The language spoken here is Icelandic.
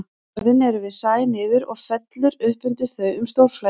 Skörðin eru við sæ niður og fellur upp undir þau um stórflæði.